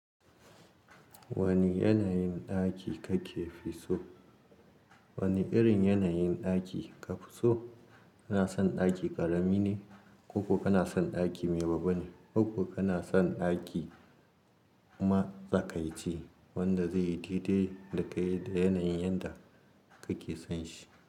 Wani yanayin ɗaki kake fi so? Wani irin yanayin ɗaki ka fi so? Kana son ɗaki ƙarami ne ko kuma kana son ɗaki mai babba ne? Ko kana son ɗaki matsakaici wanda zai yi daidai da kayyade yanayin yanda kake son shi?